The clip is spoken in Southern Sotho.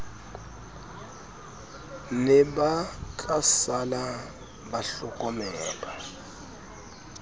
ne ba tlasala ba hlokomelwa